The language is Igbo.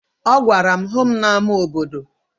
Ọ gwara m, hụ m n'ama obodo!